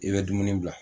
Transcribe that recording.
I bɛ dumuni bila